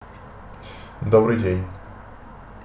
добрый день